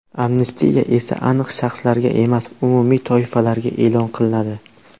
Amnistiya esa aniq shaxslarga emas, umumiy toifalarga e’lon qilinadi.